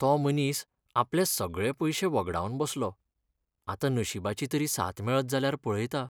तो मनीस आपले सगळे पयशे व्हगडावन बसलो, आतां नशिबाची तरी साथ मेळत जाल्यार पळयता.